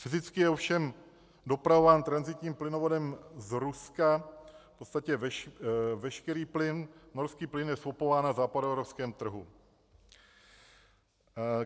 Fyzicky je ovšem dopravován tranzitním plynovodem z Ruska v podstatě veškerý plyn, norský plyn je skupován na západoevropském trhu.